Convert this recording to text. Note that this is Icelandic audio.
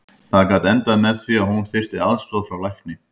Það gat endað með því að hún þyrfti aðstoð frá lækni.